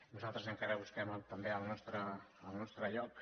nosaltres encara busquem també el nostre lloc